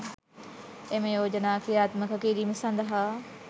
එම යෝජනා ක්‍රියාත්මක කිරීම සඳහා